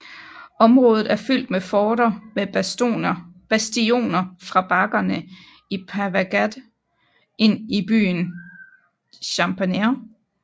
Området er fyldt med forter med bastioner fra bakkerne i Pavagadh ind i byen Champaner